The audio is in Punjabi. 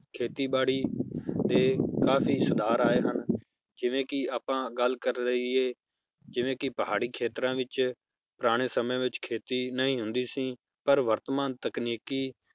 ਖੇਤੀ ਬਾੜੀ ਤੇ ਕਾਫੀ ਸੁਧਾਰ ਆਏ ਹਨ ਜਿਵੇ ਕੀ ਆਪਾਂ ਗੱਲ ਕਰ ਲਇਏ ਜਿਵੇ ਕੀ ਪਹਾੜੀ ਖੇਤਰਾਂ ਵਿਚ ਪੁਰਾਣੇ ਸਮੇ ਵਿਚ ਖੇਤੀ ਨਹੀਂ ਹੁੰਦੀ ਸੀ ਪਰ ਵਰਤਮਾਨ ਤਕਨੀਕੀ